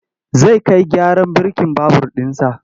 Zai kai gyaran birkin babur ɗinsa.